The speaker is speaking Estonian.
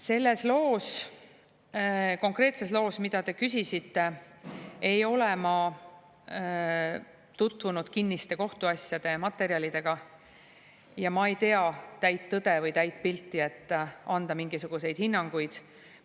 Selles loos, konkreetses loos, mille kohta te küsisite, ei ole ma tutvunud kinniste kohtuasjade materjalidega ja ma ei tea täit tõde või täit pilti, et anda mingisuguseid hinnanguid.